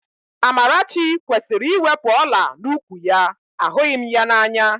Amarachi kwesịrị iwepu ọ̀lá n'úkwù ya, ahụghị m ya n'anya